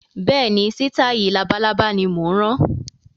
Bẹ́ẹ̀ni, sitai labalábá ni mo ń rán